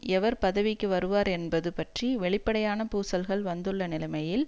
எவர் பதவிக்கு வருவார் என்பது பற்றி வெளிப்படையான பூசல்கள் வந்துள்ள நிலைமையில்